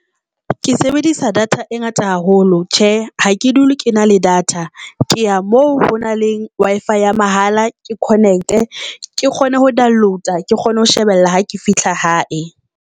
Ke sebedisa data e ngata haholo. Tjhe, ha ke dule ke na le data, Ke ya moo ho na le Wi-Fi ya mahala ke connect-e ke kgone ho download-a ke kgone ho shebella ha ke fihla hae.